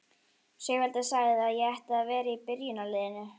Sigvaldi sagði að ég ætti að vera í byrjunarliðinu!